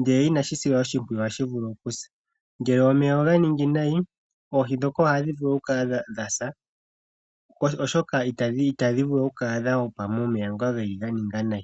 ndele inadhi silwa oshimpwiyu ohadhi vulu okusa, ngele omeya oganingi nayi oohi ohadhi si woo oshoka ihadhi hupu momeya ganinga nayi.